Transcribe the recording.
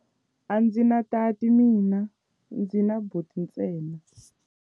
A ndzi na tati mina, ndzi na buti ntsena.